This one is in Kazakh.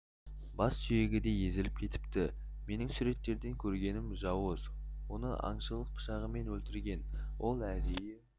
бас сүйегі де езіліп кетіпті менің суреттерден көргенім жауыз оны аңшылық пышағымен өлтірген ол әдейі